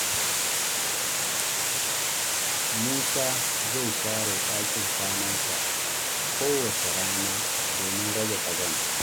Musa zai share ɗakin kwanansa kowace rana domin rage ƙazanta.